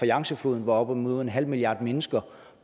yangtze floden hvor op imod en halv milliard mennesker